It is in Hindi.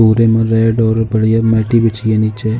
पूरे में रेड और बढ़िया मैटी बिछी है नीचे।